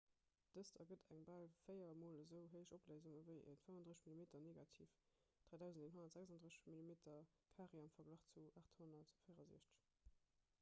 dëst ergëtt eng bal véier mol esou héich opléisung ewéi e 35-mm-negativ 3136 mm² am verglach zu 864